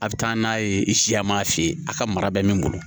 A bɛ taa n'a ye siya m'a f'i ye a ka mara bɛ min bolo